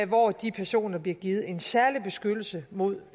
hvor de personer bliver givet en særlig beskyttelse mod